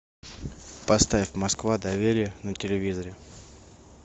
поставь москва доверие на телевизоре